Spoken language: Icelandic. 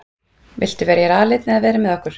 Viltu vera hér aleinn eða vera með okkur?